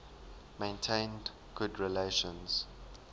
maintained good relations